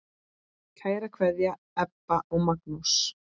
Kær kveðja, Ebba og Magnús.